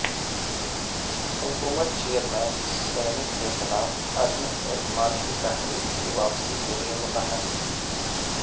حکومت chairman senate کے خلاف عدم اعتماد کی تحریک کی واپسی کےلئے متحرک